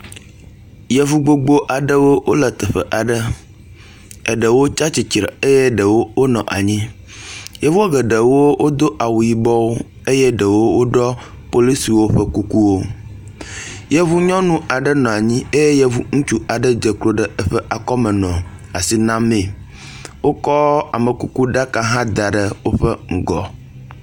Yevu gbogbo aɖewo wole teƒe aɖe, eɖewo tsatsitre eye ɖewo wonɔ anyi. Yevu eɖewo wodo awu yibɔwo eye eɖewo woɖɔ polisiwo ƒe kukuwo. Yevu nyɔnu aɖe nɔ anyi eye yevu ŋutsu aɖe dze klo ɖe eƒe akɔme nɔ asi namee. Wokɔ amekuku ɖaka aɖe hã da ɖe woƒe ŋgɔ.